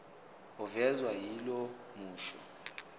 ovezwa yilo musho